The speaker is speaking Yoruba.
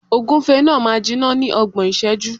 Ògúfe náà máa jiná ní ọgbọ̀n ìṣẹ́jú.